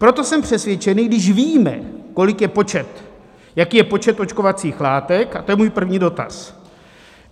Proto jsem přesvědčený, když víme, kolik je počet, jaký je počet očkovacích látek - a to je můj první dotaz.